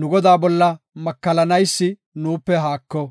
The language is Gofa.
Nu Godaa bolla makallanaysi nuupe haako.